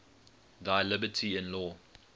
thy liberty in law